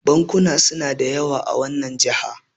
bankuna suna da yawa a wannan jaha